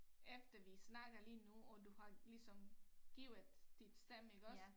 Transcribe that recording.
Efter vi snakkede lige nu og har ligesom givet dit stemme iggås